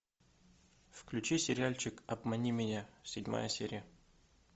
включи сериальчик обмани меня седьмая серия